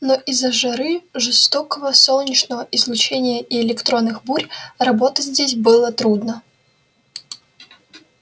но из-за жары жёсткого солнечного излучения и электронных бурь работать здесь было трудно